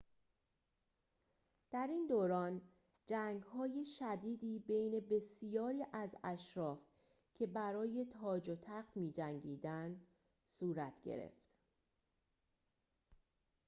در این دوران جنگ‌های شدیدی بین بسیاری از اشراف که برای تاج و تخت می‌جنگیدند صورت گرفت